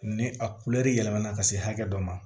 Ni a yɛlɛmana ka se hakɛ dɔ ma